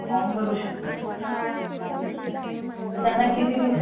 form भरू शकतात. तर त्यांना किती दिवसात